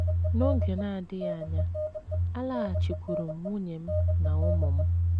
N’oge na - adịghị anya, alaghachikwuuru m nwunye m na ụmụ m.